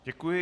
Děkuji.